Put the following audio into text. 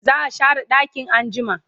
za'a share ɗakin anjima